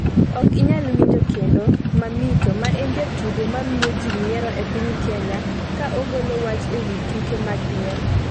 Ok inyal winjo kendo ‘Mamito’ ma en jatugo ma miyo ji nyiero e piny Kenya ka ogolo wach ewi tuke mag nyiero